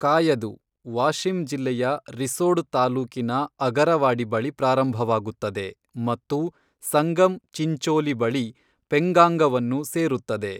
"ಕಾಯದು, ವಾಶಿಮ್ ಜಿಲ್ಲೆಯ ರಿಸೋಡ್ ತಾಲೂಕಿನ ಅಗರವಾಡಿ ಬಳಿ ಪ್ರಾರಂಭವಾಗುತ್ತದೆ ಮತ್ತು ಸಂಗಮ್ ಚಿಂಚೋಲಿ ಬಳಿ ಪೆಂಗಾಂಗವನ್ನು ಸೇರುತ್ತದೆ